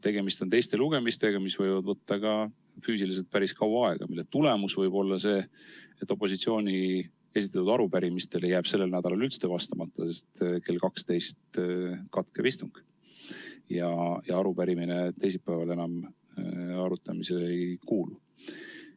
Tegemist on teiste lugemistega, mis võivad võtta päris kaua aega, mille tagajärg võib olla see, et opositsiooni esitatud arupärimistele jääb sellel nädalal üldse vastamata, sest kell 24 istung lõpeb ja arupärimine teisipäeval enam arutamisele ei kuulu.